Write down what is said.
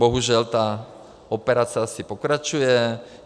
Bohužel ta operace asi pokračuje.